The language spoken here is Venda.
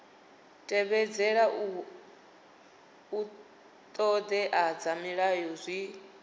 tevhedzela ṱhoḓea dza mulayo zwi